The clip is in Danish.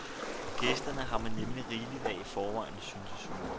Gæster har man nemlig rigeligt af i forvejen, syntes hun.